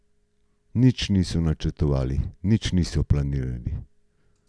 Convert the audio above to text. Nič nismo načrtovali, nič nismo planirali.